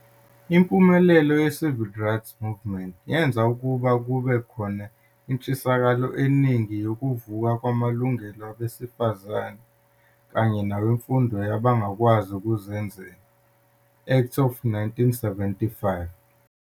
Impumelelo ye-Civil Rights Movement yenza ukuba kube khona intshisakalo eningi yoku vuka kwamalungelo wabesifazane, kanye newe Mfundo yabantu abangakwazi ukuzenzela, Act of 1975.